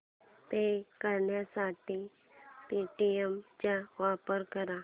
पे करण्यासाठी पेटीएम चा वापर कर